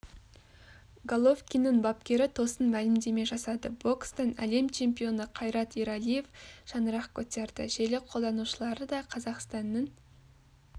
головкиннің бапкері тосын мәлімдеме жасады бокстан әлем чемпионы қайрат ералиев шаңырақ көтерді желі қолданушылары да қазақстанның